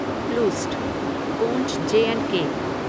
प्लूस्ट पूंछ J and के